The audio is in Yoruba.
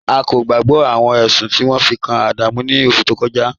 A kò gbàgbọ̀ awọn ẹṣun ti won fi kan Adamu ni oṣù tó kọja